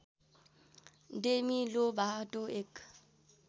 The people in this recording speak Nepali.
डेमी लोभाटो एक